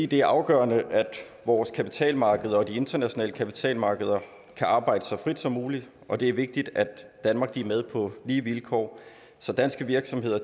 det er afgørende at vores kapitalmarkeder og de internationale kapitalmarkeder kan arbejde så frit som muligt og det er vigtigt at danmark er med på lige vilkår så danske virksomheder